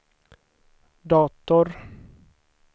dator